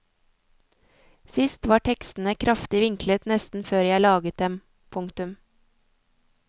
Sist var tekstene kraftig vinklet nesten før jeg laget dem. punktum